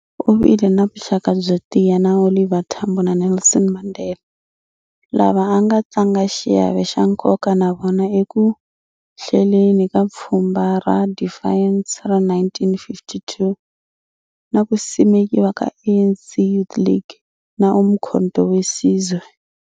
U vile na vuxaka byo tiya na Oliver Tambo na Nelson Mandela, lava a nga tlanga xiave xa nkoka na vona eku hleleni ka Pfhumba ro Defiance ra 1952 na ku simekiwa ka ANC Youth League na Umkhonto we Sizwe.